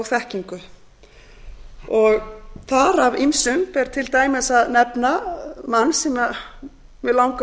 þekkingu þar af ýmsum ber til dæmis að nefna mann sem mig langar